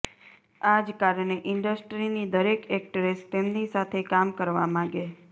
આજ કારણે ઈન્ડસ્ટ્રીની દરેક એક્ટ્રેસ તેમની સાથે કામ કરવા માગે